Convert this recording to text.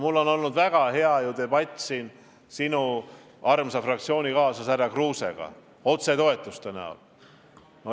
Mul on olnud väga hea debatt sinu armsa fraktsioonikaaslase härra Kruusega, jutuks otsetoetused.